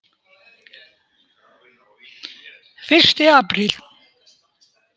Fyrsti apríl.